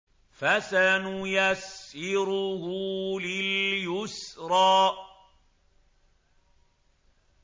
فَسَنُيَسِّرُهُ لِلْيُسْرَىٰ